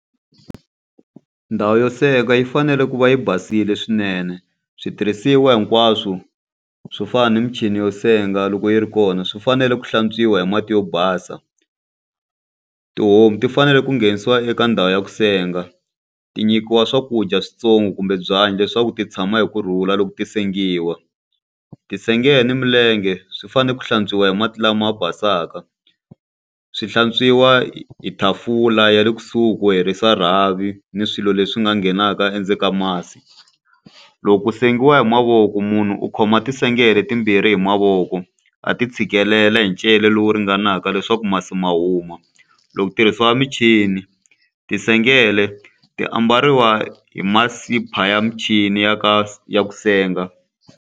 Ndhawu yo senga yi fanele ku va yi basile swinene. Switirhisiwa hinkwaswo swo fana na michini yo senga loko yi ri kona, swi fanele ku hlantswiwa hi mati yo basa. Tihomu ti fanele ku nghenisiwa eka ndhawu ya ku senga, ti nyikiwa swakudya switsongo kumbe byanyi leswaku ti tshama hi ku rhula loko ti sengiwa. Ti sengela ni milenge, swi fanele ku hlantswiwa hi mati lama basaka, swi hlantswiwa hi hi tafula ya le kusuhi ku herisa rhavi ni swilo leswi nga nghenaka endzeni ka masi. Loko ku sengiwa hi mavoko, munhu u khoma tintsengele timbirhi hi mavoko a ti tshikelela hi lowu ringanaka leswaku masi ma huma. Loko ku tirhisiwa michini tinsengele ti ambariwa hi ya michini ya ka ya ku senga.